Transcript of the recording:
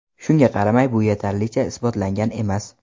Shunga qaramay, bu yetarlicha isbotlangan emas.